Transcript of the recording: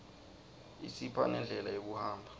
isipha nendlela yekuhamba